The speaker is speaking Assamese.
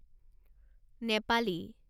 নেপালী